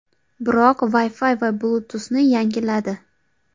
Biroq Wi-Fi va Bluetooth’ni yangiladi.